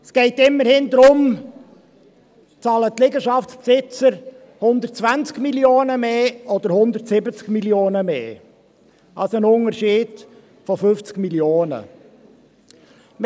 Es geht immerhin darum, ob die Liegenschaftsbesitzer 120 Mio. Franken oder 170 Mio. Franken mehr zahlen, also ein Unterschied von 50 Mio. Franken.